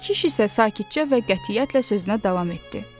Kiş isə sakitcə və qətiyyətlə sözünə davam etdi.